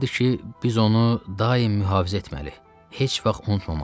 Deyirdi ki, biz onu daim mühafizə etməliyik, heç vaxt unutmamalıyıq.